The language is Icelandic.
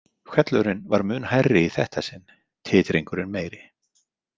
Hvellurinn var mun hærri í þetta sinn, titringurinn meiri.